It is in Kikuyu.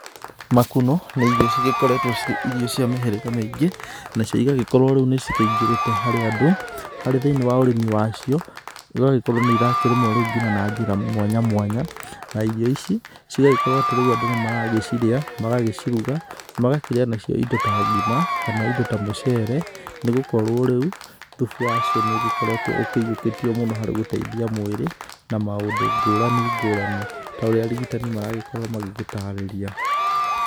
Makunũ nĩ ĩrio cĩkoretwo cĩre ĩrio cĩa mĩhirĩga mĩingi, nacĩo ĩgakorwo nĩ cĩingĩrite harĩ andũ, harĩ thĩini wa ũrimi wacĩo ĩgakorwo nĩ ĩrarimwo na njĩra mwanya mwanya, na ĩrio cigakorwo andũ reũ nĩmaracĩria, magacĩruga makarĩa nacĩo ĩndo ta ngima kana ĩndo ta mũceere nĩgukorwo reũ thũbu wacĩo nĩugikoretwo ukĩhiukitio mũno harĩ gũteithia mwĩri na maũndũ ngurani ngurani ta ũrĩa arigĩtani maragikorwo magĩgitarĩria.